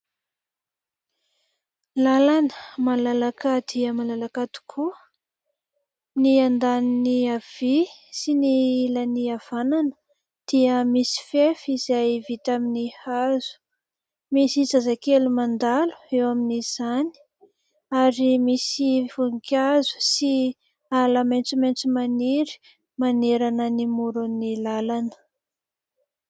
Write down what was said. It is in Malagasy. Lalana malalaka dia malalaka tokoa ny andaniny havia sy ny ilan'ny havanana dia misy fefy izay vita amin'ny hazo, misy zazakely mandalo eo amin'izany ary misy voninkazo sy ala maitsomaitso maniry manerana ny morony lalana.